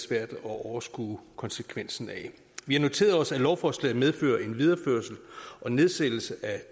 svært at overskue konsekvensen af vi har noteret os at lovforslaget medfører en videreførelse og nedsættelse af